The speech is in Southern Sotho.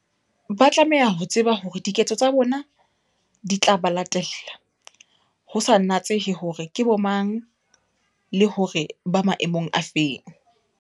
Ba tlameha ho tseba hore diketso tsa bona di tla ba latella, ho sa natsehe hore ke bomang, le hore ba maemong a feng.